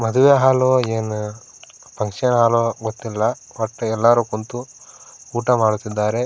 ಮದುವೆ ಹಾಲೋ ಏನ್ ಫುನ್ಕ್ಷನ್ ಹಾಲೋ ಗೊತ್ತಿಲ್ಲ ಒಟ್ ಎಲ್ಲರೂ ಕುಂತು ಊಟ ಮಾಡುತ್ತಿದ್ದಾರೆ.